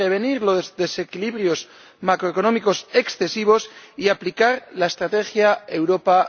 prevenir los desequilibrios macroeconómicos excesivos y aplicar la estrategia Europa